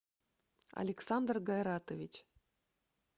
александр гайратович